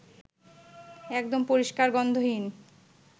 একদম পরিষ্কার, গন্ধহীন